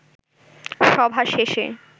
সভা শেষে